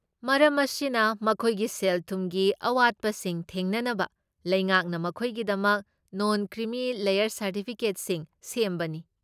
ꯃꯔꯝ ꯑꯁꯤꯅ, ꯃꯈꯣꯏꯒꯤ ꯁꯦꯜ ꯊꯨꯝꯒꯤ ꯑꯋꯥꯠꯄꯁꯤꯡ ꯊꯦꯡꯅꯅꯕ ꯂꯩꯉꯥꯛꯅ ꯃꯈꯣꯏꯒꯤꯗꯃꯛ ꯅꯣꯟ ꯀ꯭ꯔꯤꯃꯤ ꯂꯦꯌꯔ ꯁꯔꯇꯤꯐꯤꯀꯦꯠꯁꯤꯡ ꯁꯦꯝꯕꯅꯤ꯫